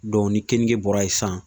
ni keninge bɔra yen san